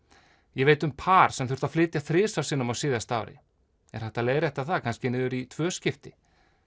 ég veit um par sem þurfti að flytja þrisvar sinnum á síðasta ári er hægt að leiðrétta það kannski niður í tvö skipti